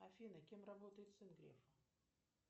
афина кем работает сын грефа